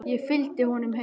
Ég fylgdi honum heim.